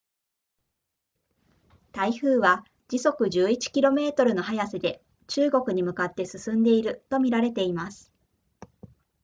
台風は時速11 km の速さで中国に向かって進んでいると見られています